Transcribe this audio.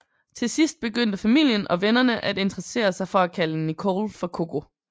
Til sidst begyndte familien og vennerne at interessere sig for at kalde Nicole for Coco